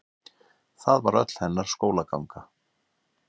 það var öll hennar skólaganga